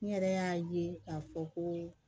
Ne yɛrɛ y'a ye k'a fɔ ko